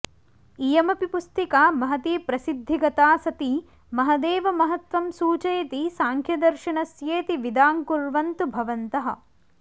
इयमपि पुस्तिका महती प्रसिद्धि गता सती महदेव महत्त्वं सूचयति सांख्यदर्शनस्येति विदाङकुर्वन्तु भवन्तः